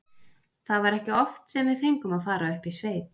Það var ekki oft sem við fengum að fara upp í sveit.